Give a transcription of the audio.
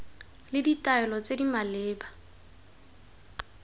le ditaelo tse di maleba